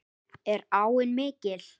Er áin mikil?